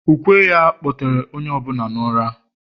ukwe ya, kpọtere onye ọ bụla n’ụra